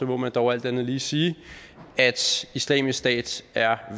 må man dog alt andet lige sige at islamisk stat er